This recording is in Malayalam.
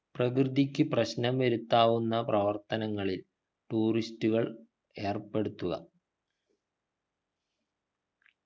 പ്രകൃതിക്കു പ്രശ്നം വരുത്താവുന്ന പ്രവർത്തനങ്ങളിൽ tourist കൾ ഏർപ്പെടുത്തുക